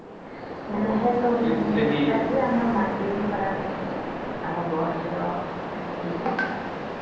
ବୁହେ ସବୁ ଦିନେ ଆମେ ମାଟି ବି ଖରାପ ହେଇସି ଆମର ଗଛ ର ୟେ ବି ଖରାପ ହେଇସି